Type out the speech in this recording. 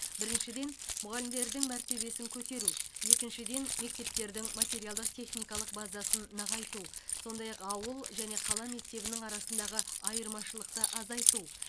біріншіден мұғалімдердің мәртебесін көтеру екіншіден мектептердің материалдық техникалық базасын нығайту сондай ақ ауыл және қала мектебінің арасындағы айырмашылықты азайту